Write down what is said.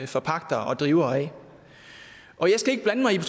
forpagter og driver jeg skal ikke blande mig i